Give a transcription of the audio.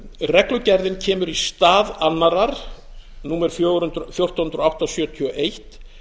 reglugerðin kemur í stað annarrar númer fjórtán hundruð og átta sjötíu og eitt